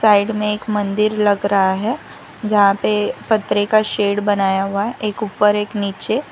Side में एक मंदिर लग रहा है जहां पे पत्थरें का शेड बनाया हुआ है एक ऊपर एक नीचे।